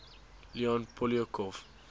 leon poliakov